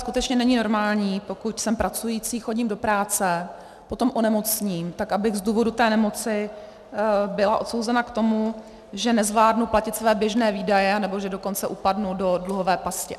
Skutečně není normální, pokud jsem pracující, chodím do práce, potom onemocním, tak abych z důvodu té nemoci byla odsouzena k tomu, že nezvládnu platit své běžné výdaje, anebo že dokonce upadnu do dluhové pasti.